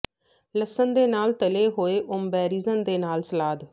ਲਸਣ ਦੇ ਨਾਲ ਤਲੇ ਹੋਏ ਔਬੇਰਿਜਨ ਦੇ ਨਾਲ ਸਲਾਦ